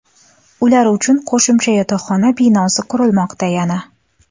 Ular uchun qo‘shimcha yotoqxona binosi qurilmoqda yana.